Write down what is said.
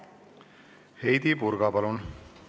Heidy Purga, palun!